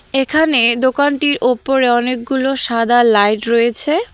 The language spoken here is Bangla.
এখানে দোকানটির ওপরে অনেকগুলো সাদা লাইট রয়েছে।